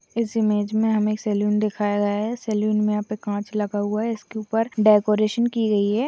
इस इमेज में हुमे सलून दिखाया गया है। सलून में याहा पर काच लागा हुआ है। इसके उपर डेकोरेशन कि गाई है।